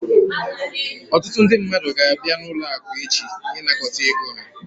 Ọtụtụ ndị mmadụ ga-abịa n'ụlọ akụ echi ịnakọta ego ha